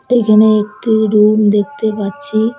এইখানে একটি রুম দেখতে পাচ্ছি।